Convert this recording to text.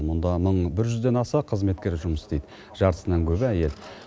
мұнда мың бір жүзден аса қызметкер жұмыс істейді жартысынан көбі әйел